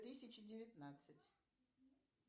тысяча девятнадцать